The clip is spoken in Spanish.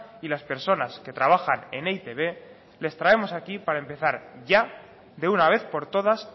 y las personas que trabajan en e i te be les traemos aquí para empezar ya de una vez por todas